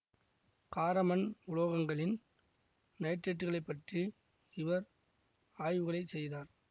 கார மண் உலோகங்களின் நைட்ரேட்டுகளை பற்றி இவர் ஆய்வுகளைச் செய்தார்